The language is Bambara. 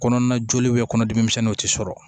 Kɔnɔna joli kɔnɔdimi misɛnninw tɛ sɔrɔ